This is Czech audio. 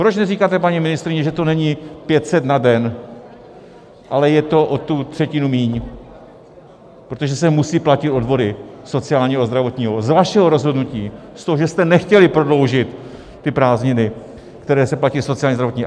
Proč neříkáte, paní ministryně, že to není 500 na den, ale je to o tu třetinu míň, protože se musí platit odvody sociálního a zdravotního z vašeho rozhodnutí, z toho, že jste nechtěli prodloužit ty prázdniny, kde se platí sociální a zdravotní.